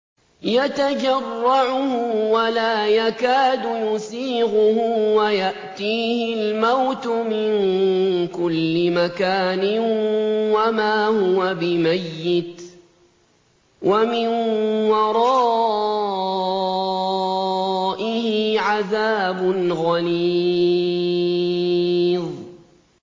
يَتَجَرَّعُهُ وَلَا يَكَادُ يُسِيغُهُ وَيَأْتِيهِ الْمَوْتُ مِن كُلِّ مَكَانٍ وَمَا هُوَ بِمَيِّتٍ ۖ وَمِن وَرَائِهِ عَذَابٌ غَلِيظٌ